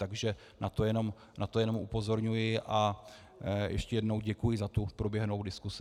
Takže na to jenom upozorňuji a ještě jednou děkuji za tu proběhlou diskusi.